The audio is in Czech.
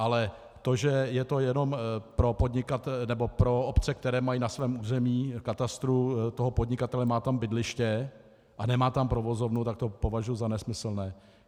Ale to, že je to jenom pro obce, které mají na svém území, katastru toho podnikatele, má tam bydliště a nemá tam provozovnu, tak to považuji za nesmyslné.